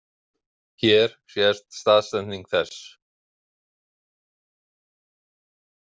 Hér sést staðsetning þess.